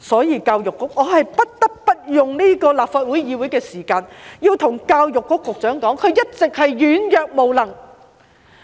因此，我不得不用立法會會議的時間對教育局局長說，他一直是軟弱無能。